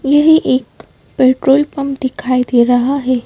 यही एक petrol pump दिखाई दे रहा है।